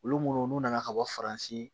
Olu munnu n'u nana ka bɔ faransi